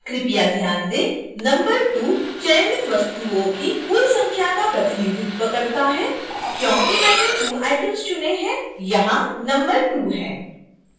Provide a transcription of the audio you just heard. कृपया ध्यान दें: नंबर 2 चयनित वस्तुओं की कुल संख्या का प्रतिनिधित्व करता है